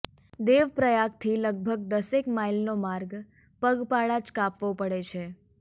દેવપ્રયાગથી લગભગ દસેક માઈલનો માર્ગ પગપાળા જ કાપવો પડે છે